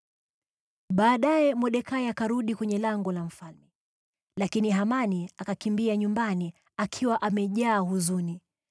Baadaye Mordekai akarudi kwenye lango la mfalme. Lakini Hamani akakimbia nyumbani, akiwa amejaa huzuni,